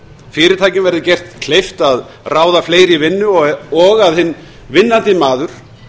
fyrirtækjum verði gert kleift að ráða fleiri í vinnu og að hinn vinnandi maður